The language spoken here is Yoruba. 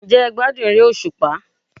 Ǹ jẹ́ e gbádùn eré òsùpá?